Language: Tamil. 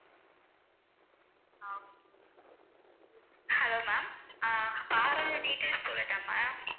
hello ma'am ஆஹ் car ஓட details சொல்லட்டா ma'am